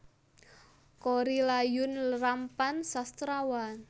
Korrie Layun Rampan Sastrawan